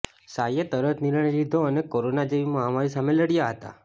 સાઇએ તરત નિર્ણય લીધો અને કોરોના જેવી મહામારી સામે લડ્યા હતા